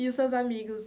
E os seus amigos?